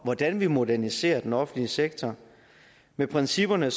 hvordan vi moderniserer den offentlige sektor med principperne